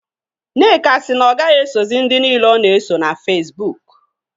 Nneka si na ọ gaghị esozị ndị niile ọ na-eso na Fesbuk